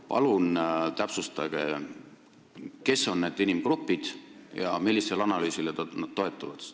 Palun täpsustage, kes on need inimgrupid ja millisele analüüsile te toetute!